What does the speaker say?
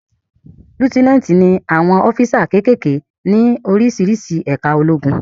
Líútínátì ni àwọn ọ́físà kékèké ní oríṣiríṣi ẹ̀ká ológun